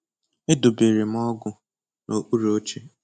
Edobere m ọgụ n'okpuru oche.